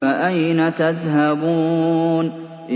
فَأَيْنَ تَذْهَبُونَ